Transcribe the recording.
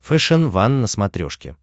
фэшен ван на смотрешке